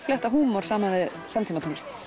flétta húmor saman við samtímatónlist